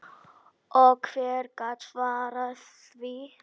Og hver gat svarað því?